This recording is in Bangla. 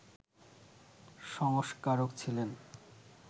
সংস্কারক ছিলেন